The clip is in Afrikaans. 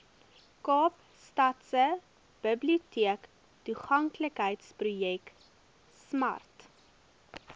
kaapstadse biblioteektoeganklikheidsprojek smart